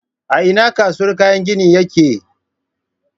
A ina kasuwar kayan gini yake?